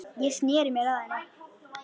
Ég sneri mér að henni.